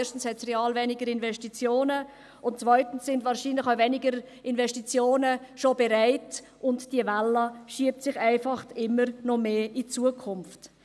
Erstens gab es real weniger Investitionen, und zweitens sind wahrscheinlich weniger Investitionen schon bereit, und diese Welle schiebt sich einfach immer weiter in die Zukunft.